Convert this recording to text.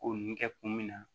Ko nin kɛ kun min na